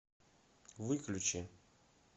выключи